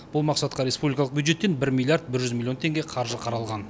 бұл мақсатқа республикалық бюджеттен бір миллиард бір жүз миллион теңге қаржы қаралған